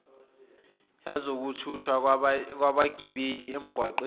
yezokuthuthwa kwabagibeli emgaqweni